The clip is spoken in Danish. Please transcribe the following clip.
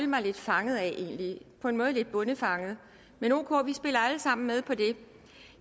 mig lidt fanget af på en måde lidt bondefanget men ok vi spiller alle sammen med på det